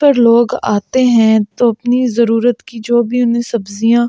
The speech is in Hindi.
पर लोग आते हैं तो अपनी जरूरत की जो भी उन्हें सब्जियां--